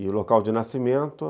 E o local de nascimento...